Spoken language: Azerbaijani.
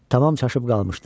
Tamam çaşıb qalmışdım.